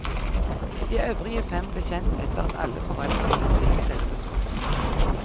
De øvrige fem ble kjent etter at alle foreldrene ble tilskrevet og spurt.